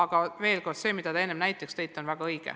Ja veel kord, see mida te enne näiteks tõite, on väga õige.